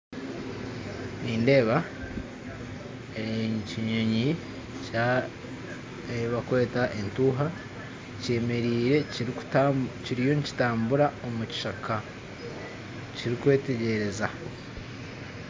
Nindeeba ekinyoonyi ekibakweta etuuha kiriyo nikitambura omu kishaka, kiri kwetegyereza